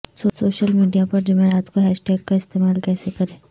social media پر جمعرات کو ہشتاگ کا استعمال کیسے کریں